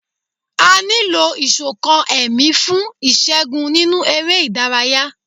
A ní lò Ìṣọ̀kan ẹ̀mí fún ìṣẹ́gun nínú eré ìdárayá.